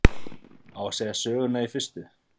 á að segja söguna í fyrstu